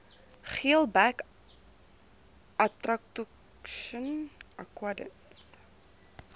geelbek atractoscion aquidens